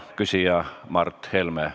Küsija on Mart Helme.